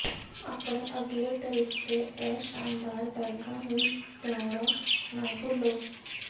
ਆਪਣੇ ਅਗਲੇ ਟਰਿੱਪ ਤੇ ਇਹ ਸ਼ਾਨਦਾਰ ਬੈਗਾਂ ਨੂੰ ਲਿਆਉਣਾ ਨਾ ਭੁੱਲੋ